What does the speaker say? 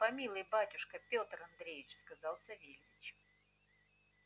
помилуй батюшка петр андреич сказал савельич